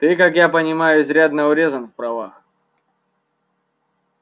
ты как я понимаю изрядно урезан в правах